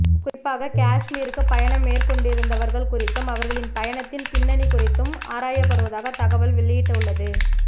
குறிப்பாக காஷ்மீருக்கு பயணம் மேற்கொண்டிருந்தவர்கள் குறித்தும் அவர்களின் பயணத்தின் பின்னணி குறித்தும் ஆராயப்படுவதாக தகவல் வெளியிட்டுள்ளது